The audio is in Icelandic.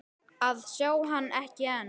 að sjá hann, ekki enn.